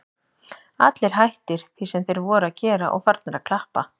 Allir hættir því sem þeir voru að gera og farnir að klappa.